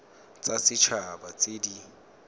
tsa set haba tse di